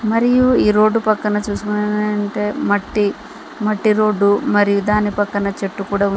మరియు ఈ రోడ్డు పక్కన అంటే మట్టి మట్టి రోడ్డు మరియు దాని పక్కన చెట్టు కూడా--